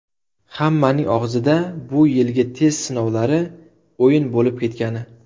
Hammaning og‘zida bu yilgi test sinovlari o‘yin bo‘lib ketgani.